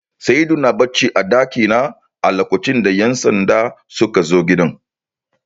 Saidu na bacci a ɗakina a lokacin da ƴan sanda sukazo gidan